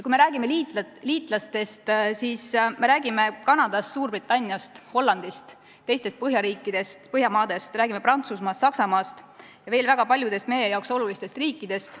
Kui me räägime liitlastest, siis me räägime Kanadast, Suurbritanniast, Hollandist, teistest Põhjamaadest, me räägime Prantsusmaast, Saksamaast ja veel väga paljudest meile olulistest riikidest.